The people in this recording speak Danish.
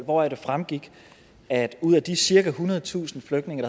hvoraf det fremgik at ud af de cirka ethundredetusind flygtninge